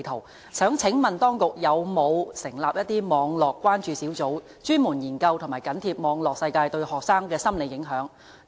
我想請問當局有否成立網絡關注小組，專門研究和緊貼網絡世界對學生的心理影響？